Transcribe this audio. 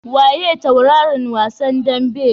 Waye tauraron wasan daɓen?